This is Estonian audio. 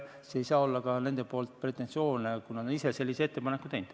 Siis ei saa olla nende poolt pretensioone, kuna nad ise on sellise ettepaneku teinud.